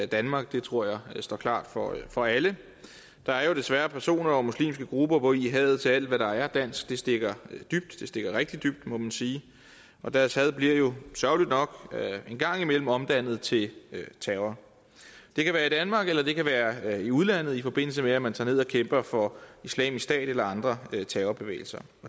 danmark det tror jeg står klart for for alle der er jo desværre personer og muslimske grupper hvori hadet til alt hvad der er dansk stikker rigtig dybt må man sige deres had blive jo sørgeligt nok en gang imellem omdannet til terror det kan være i danmark eller det kan være i udlandet i forbindelse med at man tager ned og kæmper for islamisk stat eller andre terrorbevægelser